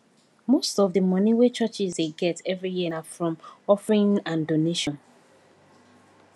most of the money wey churches dey get every year na from offering and donation